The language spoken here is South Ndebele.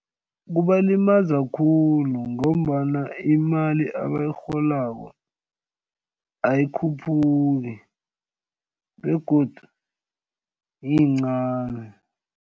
Kubalimaza khulu ngombana imali abayirholako ayikhuphuki begodu iyincani.